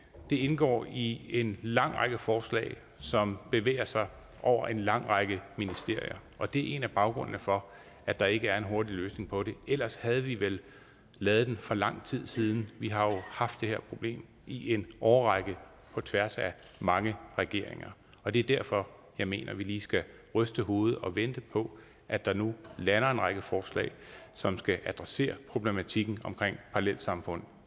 det indgår i en lang række forslag som bevæger sig over en lang række ministerier og det er en af baggrunden for at der ikke er en hurtig løsning på det ellers havde vi vel lavet den for lang tid siden vi har jo haft det her problem i en årrække på tværs af mange regeringer og det er derfor jeg mener at vi lige skal ryste hovedet og vente på at der nu lander en række forslag som skal adressere problematikken omkring parallelsamfund